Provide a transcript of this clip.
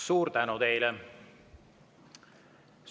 Suur tänu teile!